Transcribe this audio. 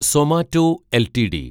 Zomato LTD